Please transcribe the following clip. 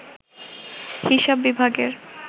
হিসাব বিভাগের